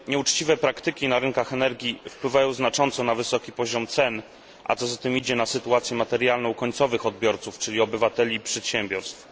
Nieuczciwe praktyki na rynkach energii wpływają znacząco na wysoki poziom cen, a co za tym idzie na sytuację materialną końcowych odbiorców, czyli obywateli i przedsiębiorstw.